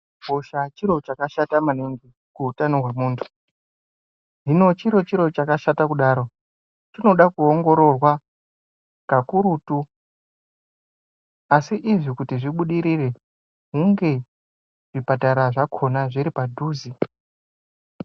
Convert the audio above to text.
Hosha chiro chakashata maningi kuutano hwemuntu hino chiri chiro chakashata kudaro chinoda kuongororwa kakurutu asi izvi kuti zvibudirire hunge zvipatara zvakona zviri padhuze.